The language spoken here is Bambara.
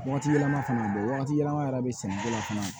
Waati yɛlɛma fana don wagati yɛlɛma yɛrɛ bɛ sɛnɛ ko la fana